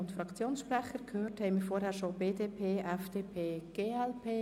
Wir haben zuvor bereits die BDP, die FDP und die glp gehört.